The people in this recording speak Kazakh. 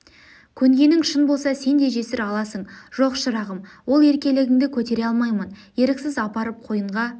көнгенің шын болса сен де жесір аласың жоқ шырағым ол еркелігінді көтере алмаймын еріксіз апарып қойынға